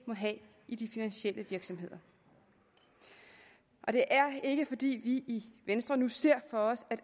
må have i de finansielle virksomheder og det er ikke fordi vi i venstre nu ser for os at